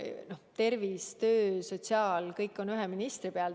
Tervishoid, töö- ja sotsiaalvaldkond – kõik on ühe ministri õlgadel.